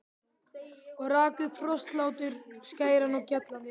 Og rak upp hrossahlátur, skæran og gjallandi.